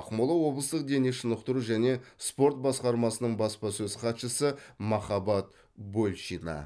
ақмола облыстық дене шынықтыру және спорт басқармасының баспасөз хатшысы махаббат большина